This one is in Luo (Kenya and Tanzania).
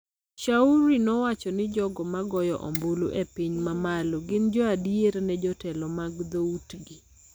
Shauri nowacho ni jogo ma goyo ombulu e piny ma malo gin jo adier ne jotelo mag dho utgi,